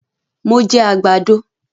Mo jẹ àgbàdo